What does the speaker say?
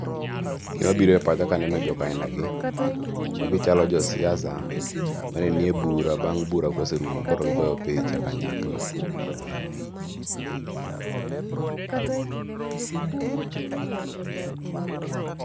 Gima biro e pacha kaneno jok aina gi, magichalo josiasa manenie bura, bang' bura koserumo koro gigoyo picha kanyakla.